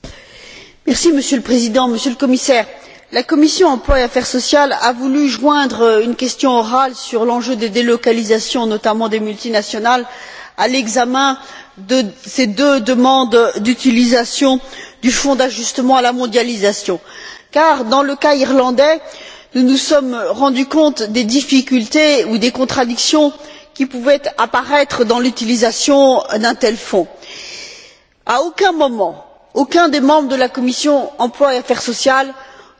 Monsieur le Président, Monsieur le Commissaire, la commission de l'emploi et des affaires sociales a voulu joindre une question orale sur l'enjeu des délocalisations, notamment des multinationales, à l'examen de ces deux demandes d'utilisation du Fonds d'ajustement à la mondialisation car, dans le cas irlandais, nous nous sommes rendus compte des difficultés ou des contradictions qui pouvaient apparaître dans l'utilisation d'un tel fonds. À aucun moment, aucun des membres de la commission de l'emploi et des affaires sociales n'a voulu